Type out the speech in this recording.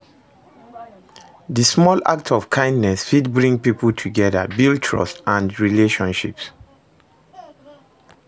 Di small acts of kindness fit bring people together, build trust and relationships.